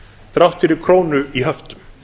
þrátt fyrir krónu í höftum